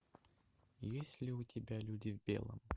есть ли у тебя люди в белом